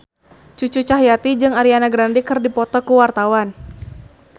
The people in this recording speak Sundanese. Cucu Cahyati jeung Ariana Grande keur dipoto ku wartawan